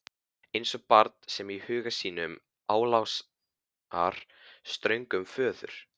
Eins og barn sem í huga sínum álasar ströngum föður.